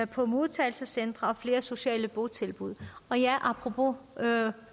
på modtagelsescentre og flere sociale botilbud apropos